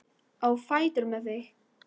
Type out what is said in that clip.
Á fætur með þig!